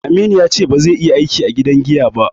Aminu ya ce ba zai iya aiki a gidan giya ba